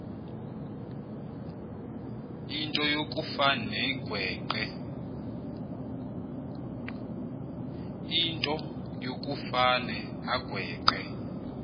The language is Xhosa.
into yokufane agweqe